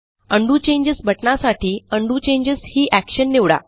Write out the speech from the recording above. undo changes बटणासाठी undo changes ही Actionनिवडा